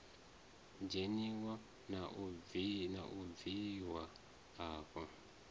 dzheniwa na u bviwa afho